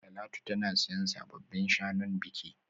Talatu tana siyan sabbin shanun biki